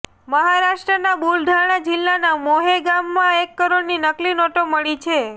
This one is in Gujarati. મહારાષ્ટ્રના બુલઢાણા જિલ્લાના મોહેં ગામમાં એક કરોડની નકલી નોટ મળી છે